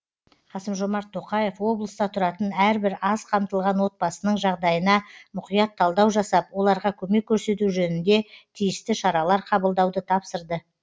қасым жомарт тоқаев облыста тұратын әрбір аз қамтылған отбасының жағдайына мұқият талдау жасап оларға көмек көрсету жөнінде тиісті шаралар қабылдауды тапсырды